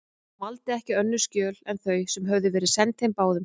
Hann valdi ekki önnur skjöl en þau, sem höfðu verið send þeim báðum.